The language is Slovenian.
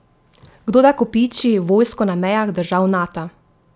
Kdo da kopiči vojsko na mejah držav Nata?